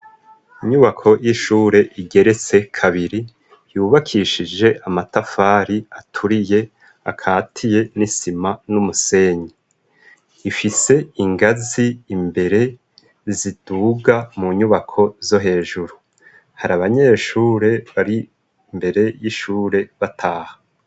Inyubako y'ishure igeretse kabiri. Yubakishije amatafari aturiye akatiye n'isima n'umusenyi. Ifise ingaz'imbere ziduga mu nyubako zo hejuru. Hari abanyeshure bar'imbere y'ishure bataha.